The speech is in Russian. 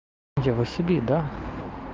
я василий да